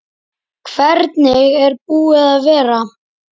Hvernig er búið að vera?